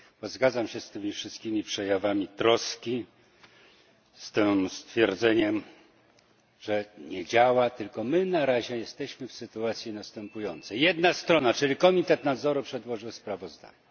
Zgadzam się z tymi wszystkimi przejawami troski, ze stwierdzeniem, że nie działa tylko my na razie jesteśmy w następującej sytuacji, że jedna strona, czyli Komitet Nadzoru, przedłożyła sprawozdanie.